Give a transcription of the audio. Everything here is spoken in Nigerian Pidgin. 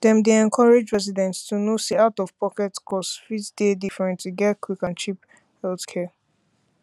dem dey encourage residents to know say outofpocket costs fit dey different to get quick and cheap healthcare